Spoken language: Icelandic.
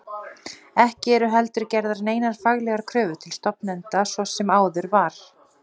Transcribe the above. Ekki eru heldur gerðar neinar faglegar kröfur til stofnenda svo sem áður var.